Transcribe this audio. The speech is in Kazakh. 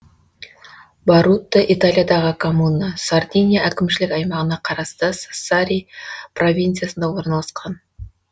борутта италиядағы коммуна сардиния әкімшілік аймағына қарасты сассари провинциясында орналасқан